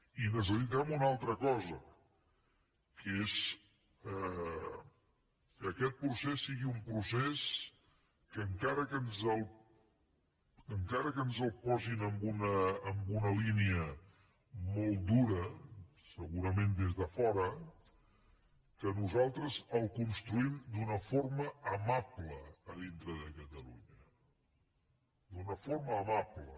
i necessitem una altra cosa que és que aquest procés sigui un procés que encara que ens el posin en una línia molt dura segurament des de fora que nosaltres el construïm d’una forma amable a dintre de catalunya d’una forma amable